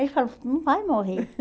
Ele falou, não vai morrer.